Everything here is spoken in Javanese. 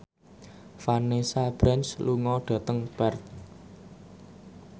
Vanessa Branch lunga dhateng Perth